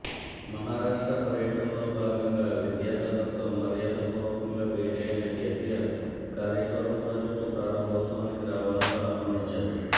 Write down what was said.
మహారాష్ట్ర పర్యటనలో భాగంగా విద్యాసాగర్తో మర్యాద పూర్వకంగా భేటి అయిన కేసీఆర్ కాళేశ్వరం ప్రాజెక్టు ప్రారంభోత్సవానికి రావాలంటూ ఆహ్వానించారు